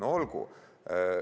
No olgu!